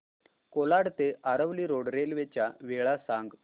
कोलाड ते Aravali road railway च्या वेळा सांग